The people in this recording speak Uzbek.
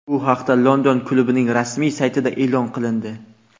Bu haqda London klubining rasmiy saytida e’lon qilindi .